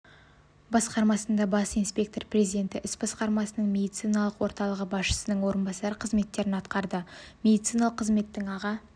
басқармасында бас инспектор президенті іс басқармасының медициналық орталығы басшысының орынбасары қызметтерін атқарды медициналық қызметтің аға